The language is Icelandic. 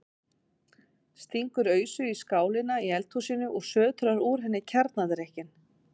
Stingur ausu í skálina í eldhúsinu og sötrar úr henni kjarnadrykkinn.